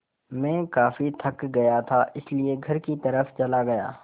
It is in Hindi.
मैं काफ़ी थक गया था इसलिए घर की तरफ़ चला गया